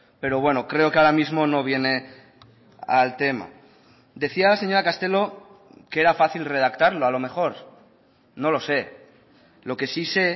pero bueno creo que ahora mismo no viene al tema decía la señora castelo que era fácil redactarlo a lo mejor no lo sé lo que sí sé